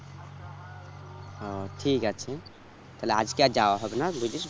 ও ঠিক আছে, তাহলে আজকে আর যাওয়া হবে না বুঝেছিস?